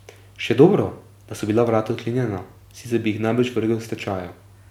Še dobro, da so bila vrata odklenjena, sicer bi jih najbrž vrgel s tečajev.